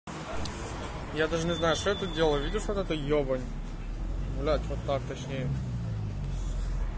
я даже не знаю что я тут делаю видишь вот эту ёбань блять вот так точнее